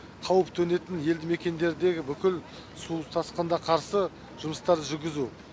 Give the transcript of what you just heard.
қауіп төнетін елді мекендердегі бүкіл су тасқынына қарсы жұмыстарды жүргізу